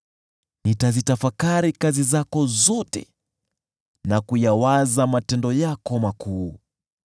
Nitazitafakari kazi zako zote na kuyawaza matendo yako makuu.